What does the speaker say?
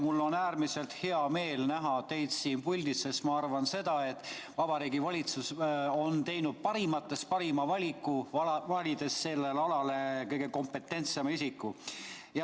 Mul on äärmiselt hea meel näha teid siin puldis, sest ma arvan seda, et Vabariigi Valitsus on teinud parimatest parima valiku, valides sellele alale kõige kompetentsema isiku.